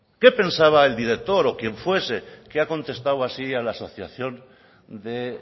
qué pensaba el director o quien fuese que ha contestado así a la asociación de